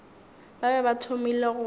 ba be ba thomile go